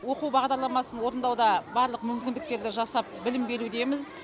оқу бағдарламасын орындауда барлық мүмкіндіктерді жасап білім берудеміз